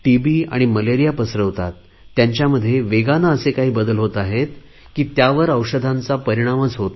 आणि मलेरिया पसरवतात त्यांच्यामध्ये वेगाने असे काही बदल होत आहेत की त्यावर औषधांचा परिणामच होत नाही